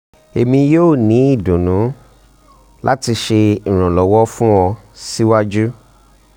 emi yoo ni idunnu um lati ṣe iranlọwọ fun ọ siwaju